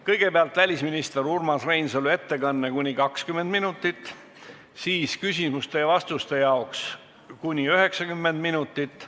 Kõigepealt on välisminister Urmas Reinsalu ettekanne kuni 20 minutit, millele järgnevate küsimuste-vastuste jaoks on kuni 90 minutit.